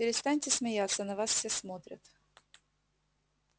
перестаньте смеяться на нас все смотрят